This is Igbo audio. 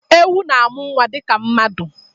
Ewu na-amụ nwa dịka mmadụ.